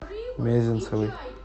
мезенцевой